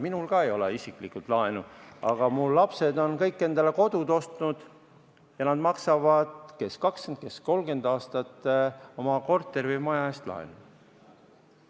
Minul ka ei ole isiklikult laenu, aga mu lapsed on kõik endale kodud ostnud ja nad maksavad – kes 20 ja kes 30 aastat – oma korteri või maja eest laenu.